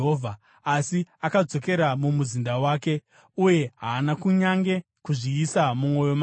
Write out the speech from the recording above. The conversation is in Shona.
Asi akadzokera mumuzinda wake, uye haana kunyange kuzviisa mumwoyo make.